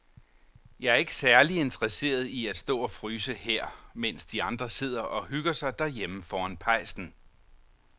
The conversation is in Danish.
Jeg er ikke særlig interesseret i at stå og fryse her, mens de andre sidder og hygger sig derhjemme foran pejsen.